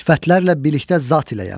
Sifətlərlə birlikdə zat iləyəm.